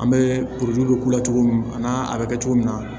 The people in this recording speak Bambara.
An bɛ k'u la cogo min a n'a a bɛ kɛ cogo min na